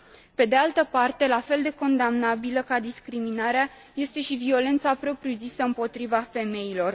Pe de altă parte, la fel de condamnabilă ca discriminarea este și violența propriu zisă împotriva femeilor.